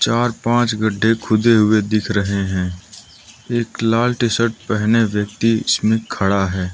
चार पांच गड्ढे खुदे हुए दिख रहे हैं एक लाल टी शर्ट पहने व्यक्ति इसमें खड़ा है।